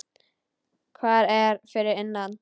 Hvað er fyrir innan?